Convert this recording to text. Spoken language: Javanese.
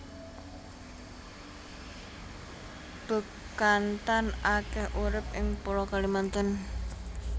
Bekantan akeh urip ing pulo Kalimantan